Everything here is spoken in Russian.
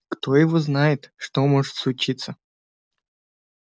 кто его знает что может случиться